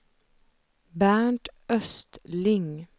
Bernt Östling